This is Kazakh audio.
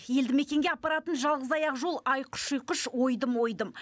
елді мекенге апаратын жалғыз аяқ жол айқыш ұйқыш ойдым ойдым